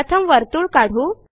प्रथम वर्तुळ काढू